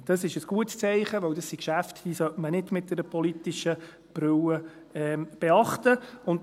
Das ist ein gutes Zeichen, weil das sind Geschäfte, die man nicht mit einer politischen Brille betrachten sollte.